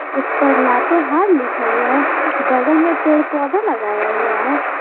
उस पर लातेहार लिखा हुआ है बगल में पेड़ पौधे लगाए हुआ है।